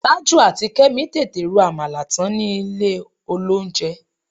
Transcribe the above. Tájù àti Kẹ́mi tètè ro àmàlà tán ni ilé-olóunjẹ